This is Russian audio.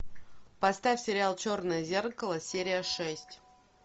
поставь сериал черное зеркало серия шесть